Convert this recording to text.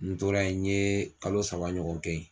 N tora ye in ye kalo saba ɲɔgɔn kɛ ye.